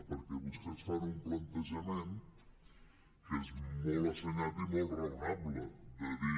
perquè vostès fan un plantejament que és molt assenyat i molt raonable de dir